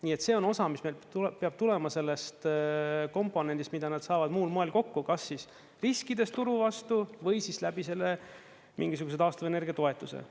Nii et see on osa, mis meil peab tulema sellest komponendist, mida nad saavad muul moel kokku, kas siis riskides turu vastu või siis läbi selle mingisuguse taastuvenergia toetuse.